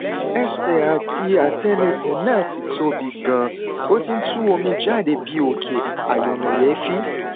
ẹsẹ àti átẹlẹsẹ náà ti tóbi ganan ó ti ń tú omi jáde bí òkè ayọnáyèéfín